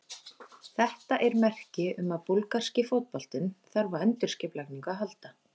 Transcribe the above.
Þetta er merki um að búlgarski fótboltinn þarf á endurskipulagningu að halda.